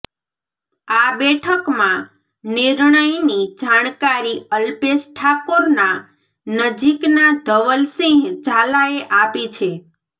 આ બેઠકમાં નિર્ણયની જાણકારી અલ્પેશ ઠાકોરના નજીકના ધવલસિંહ ઝાલાએ આપી છે